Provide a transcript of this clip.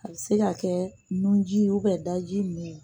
A bɛ se ka kɛ nu ji da i ninnu ye